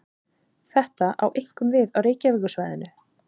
Þetta á einkum við á Reykjavíkursvæðinu.